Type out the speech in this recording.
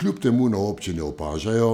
Kljub temu na občini opažajo,